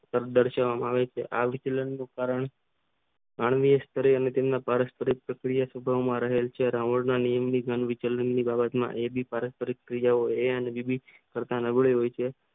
શબ્દ દરસાવા માં આવે છે આ સંતુલન આણ્વીય અને તેમને કળ સ્વરૂપ સક્રિયમાં રહેલ છે અવધ ના નિયમ ની જેમ એબી પારસ્પરિક ક્રિયાઓ કરતા નબળું હોય છે